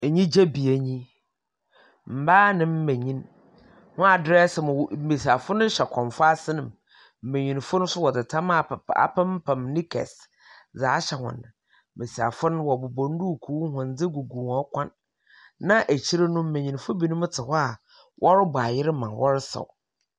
Enyigye bea nye yi, mbaa mbanyin, wɔadrɛɛse ma wo mbasiafo no hyɛ kɔmfoase na m mbanyin no so wɔdze tam apamp apempam knickers dze ahyɛ hɔn. Mbasiafo no, wɔbobɔ nduukuu, ahondze gu hɔn kɔn. Na ekyir no mbanyin binom tse hɔ a wɔrobɔ ayer no ma wɔresaw.